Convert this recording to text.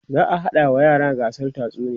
za'a haɗa wa yaran gasar tatsuniya